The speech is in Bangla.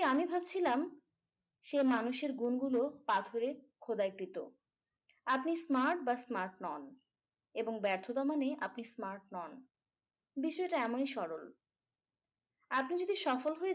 আমি ভাবছিলাম সে মানুষের গুণগুলো পাথরে খোদাইকৃত আপনি smart বা smart নন এবং ব্যর্থতা মানে আপনি smart নন বিষয়টা এমনই সরল আপনি যদি সফল হয়ে